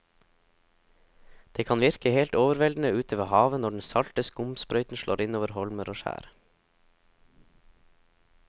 Det kan virke helt overveldende ute ved havet når den salte skumsprøyten slår innover holmer og skjær.